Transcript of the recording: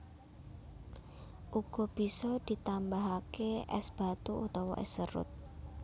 Uga bisa ditambahake es batu utawa es serut